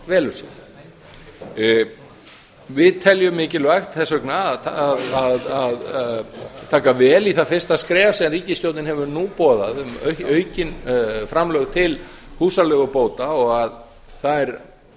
velur sér við teljum mikilvægt þess vegna að taka vel í það fyrsta skref sem ríkisstjórnin hefur nú boðað um aukin framlög til húsaleigubóta og að þær